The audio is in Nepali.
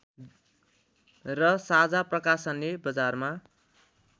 र साझा प्रकाशनले बजारमा